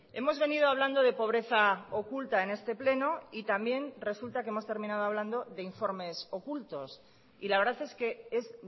hemos venido hablando de pobreza oculta en este pleno y también resulta que hemos terminado hablando de informes ocultos y la verdad es que es